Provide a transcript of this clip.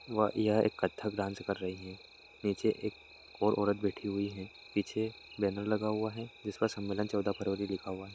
वह यह एक कत्थक डांस कर रही है। नीचे एक और औरत बैठी हुई है। पीछे बैनर लगा हुआ है जिसका सम्मेलन चौदह फरवरी लिखा हुआ है।